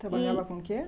E Trabalhava com o quê?